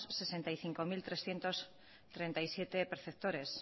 sesenta y cinco mil trescientos treinta y siete perceptores